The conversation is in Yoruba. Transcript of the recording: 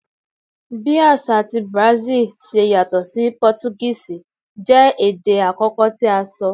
Bi aṣa ti Brazil ṣe yatọ si Portuguese jẹ ede akọkọ ti a sọ